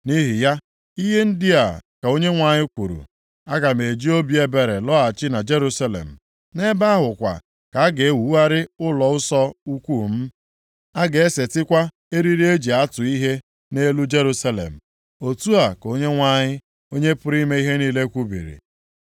“Nʼihi ya, ihe ndị a ka Onyenwe anyị kwuru, ‘Aga m eji obi ebere lọghachi na Jerusalem. Nʼebe ahụ kwa ka a ga-ewugharị ụlọnsọ ukwuu m. A ga-esetikwa eriri e ji atụ ihe nʼelu Jerusalem.’ Otu a ka Onyenwe anyị, Onye pụrụ ime ihe niile kwubiri.